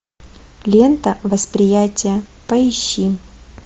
лента восприятие поищи